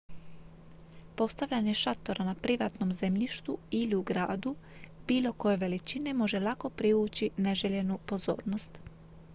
postavljanje šatora na privatnom zemljištu ili u gradu bilo koje veličine može lako privući neželjenu pozornost